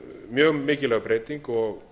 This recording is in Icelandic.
mjög mikilvæg breyting og